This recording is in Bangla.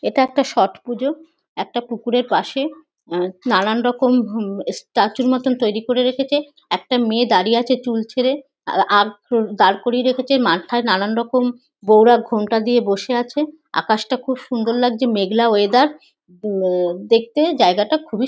এটা একটা ছট পুজা। একটা কুকুরের পাশে নানানরকম স্ট্যাচু র মতো তৈরি করে রেখেছে। একটা মেয়ে দাঁড়িয়ে আছে চুল ছেঁড়ে। আখগুলো দাঁড় করিয়ে রেখেছে। মাথায় নানানরকম বউরা ঘোমটা দিয়ে বসে আছে। আকাশটা খুব সুন্দর লাগছে মেঘলা ওয়েদার দেখতে জায়গাটা খুবই সুন--